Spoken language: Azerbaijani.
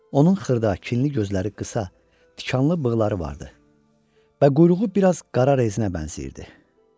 Onun xırda, kinli gözləri qısa, tikanlı bığları vardı və quyruğu biraz qara rezinə bənzəyirdi.